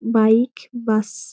Bike bus.